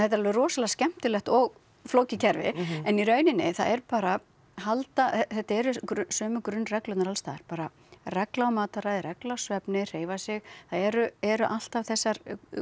er alveg rosalega skemmtilegt og flókið kerfi en í rauninni það er bara halda þetta eru sömu grunnreglurnar alls staðar bara regla á mataræði regla á svefni hreyfa sig það eru eru alltaf þessar